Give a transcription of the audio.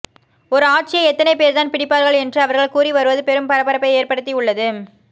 ஒரு ஆட்சியை எத்தனை பேர்தான் பிடிப்பார்கள் என்று அவர்கள் கூறி வருவது பெரும் பரபரப்பை ஏற்படுத்தி உள்ளது